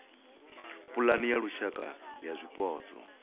pulane ya lushaka ya zwipotso